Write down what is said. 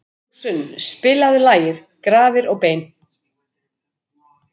Ljósunn, spilaðu lagið „Grafir og bein“.